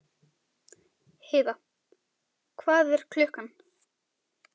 Heiðar, hvað er klukkan?